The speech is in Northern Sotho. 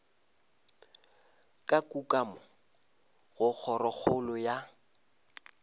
ka kukamo go kgorokgolo ya